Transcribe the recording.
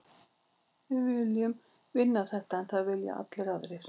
Við viljum vinna þetta, en það vilja allir aðrir.